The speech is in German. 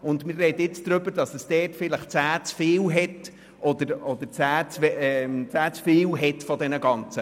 Und wir sprechen jetzt darüber, dass es dort vielleicht 10 Tiere zu viel hat.